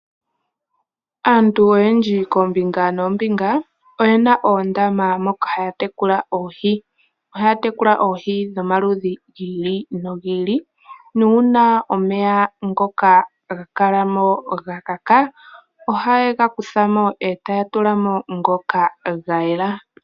Aantu oyendji koombinga noombinga oyena oondama moka haya tekula Oohi, ohaya tekula Oohi dhomaludhi gi ili nogi ili nuuna omeya ngoka gakalamo gakaka oha yegakuthamo etaya tulamo ngoka ga yela.